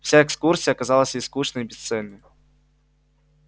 вся экскурсия казалась ей скучной и бесцельной